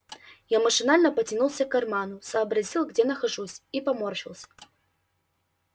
я машинально потянулся к карману сообразил где нахожусь и поморщился